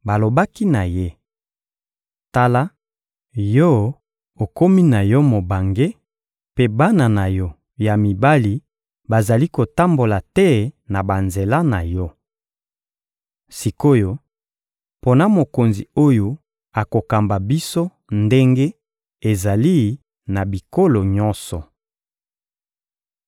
Balobaki na ye: «Tala, yo okomi na yo mobange, mpe bana na yo ya mibali bazali kotambola te na banzela na yo. Sik’oyo, pona mokonzi oyo akokamba biso ndenge ezali na bikolo nyonso.»